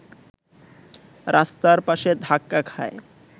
রাস্তার পাশে ধাক্কা খায়